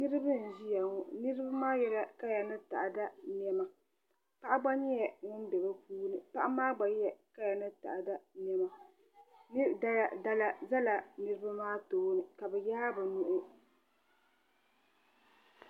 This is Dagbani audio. Niraba n ʒiya ŋo niraba maa yɛla kaya ni taada niɛma paɣa gba nyɛla ŋun bɛ bi puuni paɣa maa gba yɛ kaya ni taada niɛma dala ʒɛla niraba maa tooni ka bi yaai bi nuhi